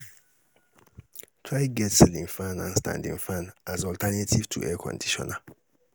try get ceiling fan and standing fan as alternative to Air conditioner